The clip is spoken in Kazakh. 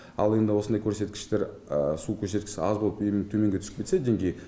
ал енді осындай көрсеткіштер су көрсеткіші аз болып егер төменге түсіп кетсе деңгейі